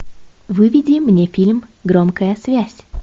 выведи мне фильм громкая связь